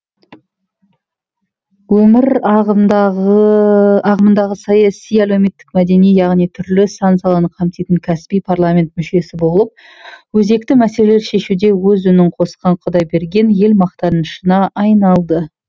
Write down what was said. өмір ағымындағы саяси әлеуметтік мәдени яғни түрлі сан саланы қамтитын кәсіби парламент мүшесі болып өзекті мәселелер шешуде өз үнін қосқан құдайберген ел мақтанышына айналды